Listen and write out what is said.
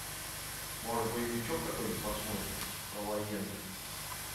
может боевичок какой нибудь посмотрим про военных